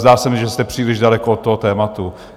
Zdá se mi, že jste příliš daleko od toho tématu.